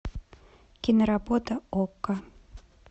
киноработа окко